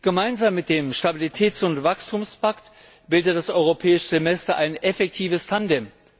Gemeinsam mit dem Stabilitäts und Wachstumspakt bildet das Europäische Semester ein effektives Tandem.